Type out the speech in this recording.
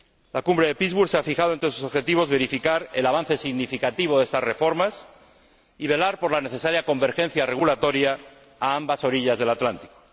La Cumbre de Pittsburg se ha fijado, entre sus objetivos, verificar el avance significativo de estas reformas y velar por la necesaria convergencia regulatoria a ambas orillas del Atlántico.